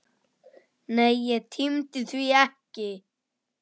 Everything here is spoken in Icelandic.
Nei, ég tímdi því ekki!